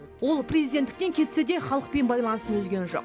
ол президенттіктен кетсе де халықпен байланысын үзген жоқ